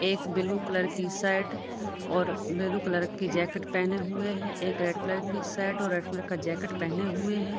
एक blue colour की shirt और ब्लू कलर की जैकेट पहनें हुए है एक रेड कलर की शर्ट रेड कलर की जैकेट पेहने हुए है।